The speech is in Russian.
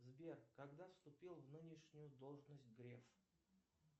сбер когда вступил в нынешнюю должность греф